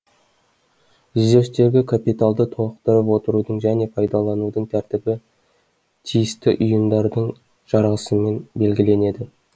резервтегі капиталды толықтырып отырудың және пайдаланудың тәртібі тиісті ұйымдардың жарғысымен белгіленеді